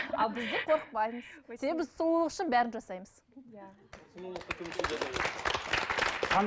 ал біздер қорықпаймыз сұлулық үшін бәрін жасаймыз